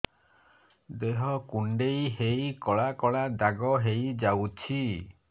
ଦେହ କୁଣ୍ଡେଇ ହେଇ କଳା କଳା ଦାଗ ହେଇଯାଉଛି